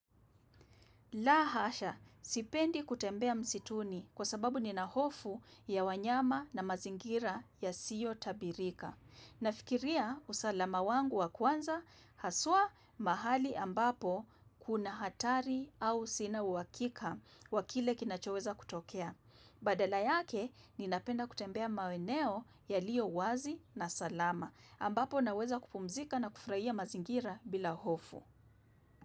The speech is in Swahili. La hasha, sipendi kutembea msituni kwa sababu nina hofu ya wanyama na mazingira yasiyo tabirika. Nafikiria usalama wangu wa kwanza haswa mahali ambapo kuna hatari au sina uhakika wa kile kinachoweza kutokea. Badala yake ninapenda kutembea maeneo yaliyo wazi na salama ambapo naweza kupumzika na kufurahia mazingira bila hofu.